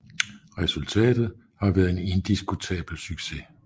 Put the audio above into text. Resultatet har været en indiskutabel succes